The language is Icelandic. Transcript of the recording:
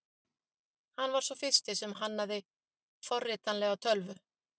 Hann var sá fyrsti sem hannaði forritanlega tölvu.